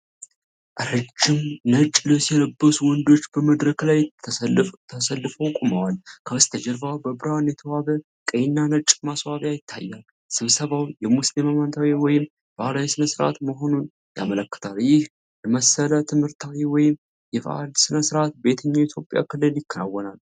ረዥም ነጭ ልብስ የለበሱ ወንዶች በመድረክ ላይ ተሰልፈው ቆመዋል፤ ከበስተጀርባ በብርሃን የተዋበ ቀይና ነጭ ማስዋቢያ ይታያል። ስብሰባው የሙስሊም ሃይማኖታዊ ወይም ባህላዊ ስነስርዓት መሆኑን ያመለክታል። ይህ የመሰለ ትምህርታዊ ወይም የበዓል ስነስርዓት በየትኛው የኢትዮጵያ ክልል ይከናወናል?